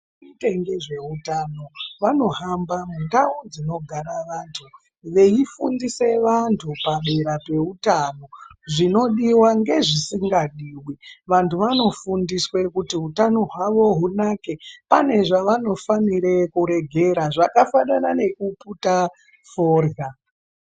Vanoite ngezveutano vanohamba mundau dzinogara vantu veifundise vantu padera peutano, zvinodiwa ngezvisingadiwi. Vantu vanofundiswe kuti utano hwavo hunake pane zvavanofanire kuregera zvakafanana nekuputa forya.